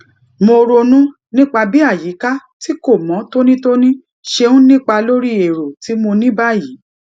mo ronú nípa bí àyíká tí kò mó tónítóní ṣe ń nípa lórí èrò tí mo ní báyìí